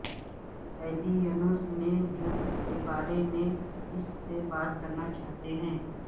Illinois میں جو اس کے بارے میں اس سے بات کرنا چاہتے تھے